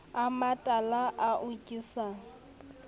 a matala ao ke sa